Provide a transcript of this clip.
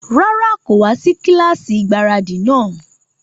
Rárá, kò wá sí kílásì ìgbáradì náà